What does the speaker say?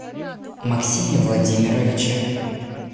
максиме владимировиче